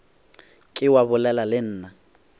ke wa bolela le nna